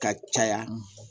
Ka caya